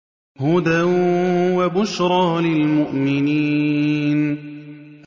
هُدًى وَبُشْرَىٰ لِلْمُؤْمِنِينَ